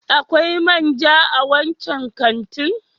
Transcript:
Akwai man ja a wancan kantin?